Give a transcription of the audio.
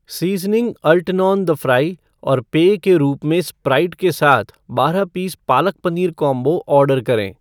seasoning अल्टीनॉन the fry और पेय के रूप में स्प्राइट के साथ बारह piece palak paneer combo order करें